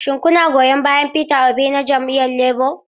Shin kuna goyon bayan Peter Obi na Jam'iyyar Labour?